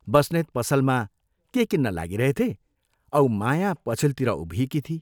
बस्नेत पसलमा के किन्न लागिरहेथे औ माया पछिल्तिर उभिएकी थिई।